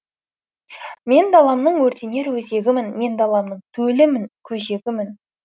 мен даламның өртенер өзегімін мен даламның төлімін көжегімін